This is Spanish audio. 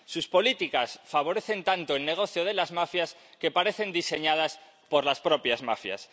Sus políticas favorecen tanto el negocio de las mafias que parecen diseñadas por las propias mafias.